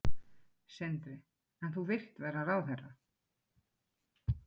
Má búast við að það, svo verði tilfellið hérna?